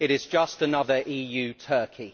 It is just another EU turkey!